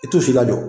I t'u si lajɔ